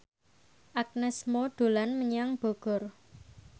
Agnes Mo dolan menyang Bogor